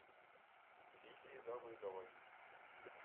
лидии давыдовой